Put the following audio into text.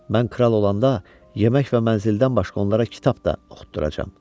Mən kral olanda yemək və mənzildən başqa onlara kitab da oxutduracam.